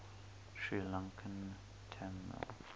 sri lankan tamil